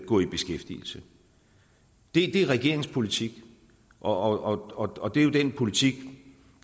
gå i beskæftigelse det er regeringens politik og og det er jo den politik